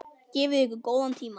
Gefið ykkur góðan tíma.